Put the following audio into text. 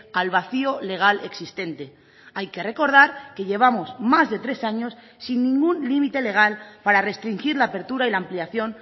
al vacío legal existente hay que recordar que llevamos más de tres años sin ningún límite legal para restringir la apertura y la ampliación